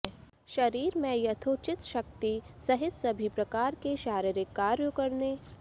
शरीर में यथोचित शक्ति सहित सभी प्रकार के शारीरिक कार्यों करने